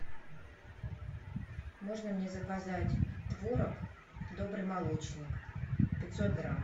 можно мне заказать творог добрый молочник пятьсот грамм